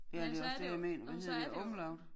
Ja så er det jo og så er det jo